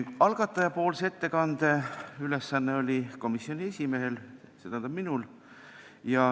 Algatajapoolse ettekande tegemise ülesanne oli komisjoni esimehel, st minul.